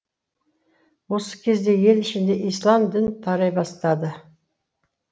осы кезде ел ішінде ислам дін тарай бастады